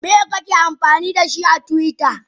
Miye kake amfanidashi a twitter?